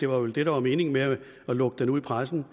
var det der var meningen med at lukke det ud i pressen